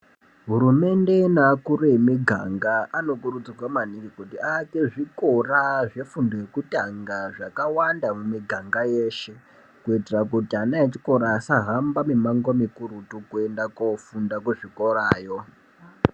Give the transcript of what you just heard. Hurumende neakuru emiganga anokurudzirwa maningi kuti aake zvikora zvefundo yekutanga zvakawanda mumiganga yeshe kuitira kuti ana echikora asahamba mimango mikurutu kuenda koofunda kuzvikorayo .